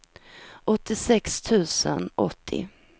åttiosex tusen åttio